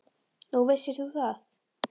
Nú, vissir þú það?